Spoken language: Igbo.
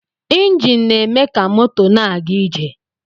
Enjin na-eme ka moto na-aga ije